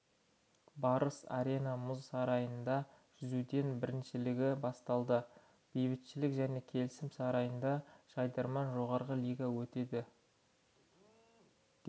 барыс арена мұз сарайында жүзуден біріншілігі басталды бейбітшілік және келісім сарайында жайдарман жоғарғы лигасы өтеді